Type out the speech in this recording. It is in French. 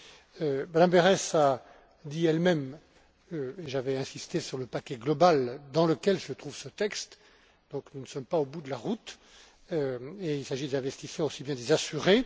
Mme Berès a dit elle même que j'avais insisté sur le paquet global dans lequel se trouve ce texte, donc nous ne sommes pas au bout de la route, et il s'agit des investisseurs aussi bien que des assurés.